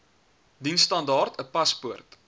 diensstandaard n paspoort